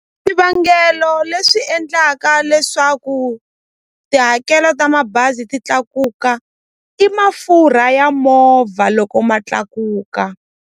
Swivangelo leswi endlaka leswaku tihakelo ta mabazi ti tlakuka i mafurha ya movha loko ma tlakuka.